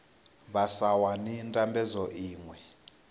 vha sa wani ndambedzo iṅwe